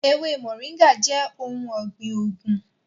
Ewe móringạ jẹ ohun ọgbin oogun.